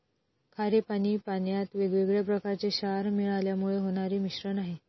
खारे पाणी पाण्यात वेगवेगळ्या प्रकारचे क्षार मिळाल्यामुळे होणारे मिश्रण आहे.